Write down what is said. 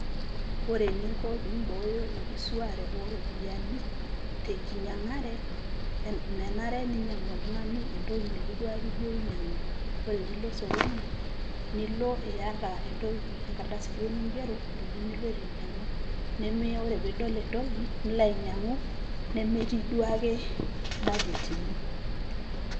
Ore eninko pibooyo enkisuare ooropiyiani tenkinyangare, menare ninyiangu oltungani entoki nitu duake ijo inyiangu, ore pilo osokoni ,nilo iata entoki , enkardasi duoo ningero , ntokitin ningira ainyiangu . Ore pidol entoki nilo ainyiangu nemetii duaake budget ino.